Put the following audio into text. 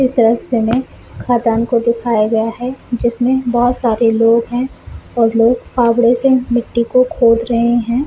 इस दृश्य में खदान को दिखाया है जिसमें बहुत सारे लोग है और लोग फ़ावडे से मिट्टी को खोद रहे हैं ।